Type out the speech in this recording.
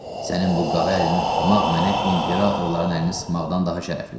Sənin bu qara əlini tutmaq mənə imperatorların əlini sıxmaqdan daha şərəflidir.